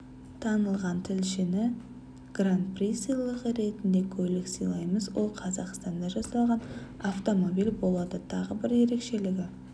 танылған тілшіге гран-при сыйлығы ретінде көлік сыйлаймыз ол қазақстанда жасалған автомобиль болады тағы бір ерекшелігі